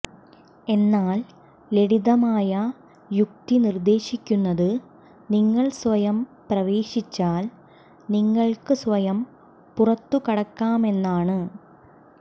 എന്നാൽ ലളിതമായ യുക്തി നിർദ്ദേശിക്കുന്നത് നിങ്ങൾ സ്വയം പ്രവേശിച്ചാൽ നിങ്ങൾക്ക് സ്വയം പുറത്തുകടക്കാമെന്നാണ്